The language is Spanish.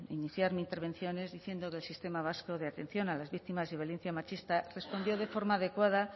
iniciar mi intervención es diciendo que el sistema vasco de atención a las víctimas de violencia machistas respondió de forma adecuada